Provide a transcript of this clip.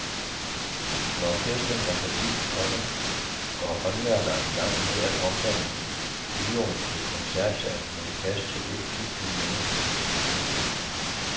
Når festen er forbi, komma går håndværkere i gang med at omdanne bioen til koncertsal med plads til et tusind mennesker. punktum